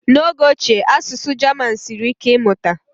n'oge ochie asụsụ German siri ike ịmụta